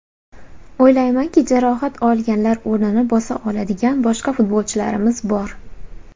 O‘ylaymanki, jarohat olganlar o‘rnini bosa oladigan boshqa futbolchilarimiz bor.